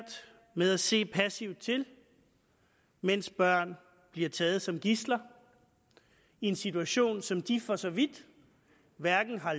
med at se passivt til mens børn bliver taget som gidsler i en situation som de for så vidt hverken har